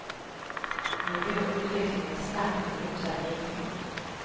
Nu går utvecklingen snabbt i motsatt riktning.